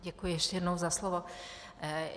Děkuji ještě jednou za slovo.